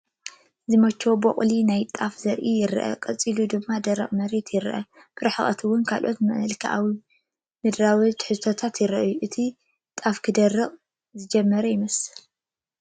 ዝመቸዎ ቦቕሊ ናይ ጣፈ ዘርኢ ይረአ ፣ ቀፂሉ ድማ ደረቕ መሬት ይረአ፡፡ ብርሕቐት እውን ካልኦት መልክኣ ምድራዊ ትሕዝቶታት ይራኣዩ፡፡ እቲ ጣፍ ክደርቕ ዝጀመረ ኦ ይመስል?